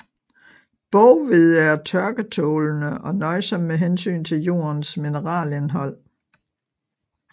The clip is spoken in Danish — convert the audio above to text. Boghvede er tørketålende og nøjsom med hensyn til jordens mineralindhold